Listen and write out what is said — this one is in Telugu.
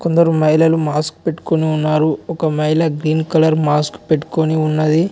కొందరు మహిళలు మాస్క్ పెట్టుకుని ఉన్నారు ఒక మహిళ గ్రీన్ కలర్ మాస్క్ పెట్టుకొని ఉన్నది.